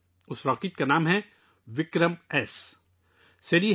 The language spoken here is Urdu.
اس راکٹ کا نام ' وکرمایس 'ہے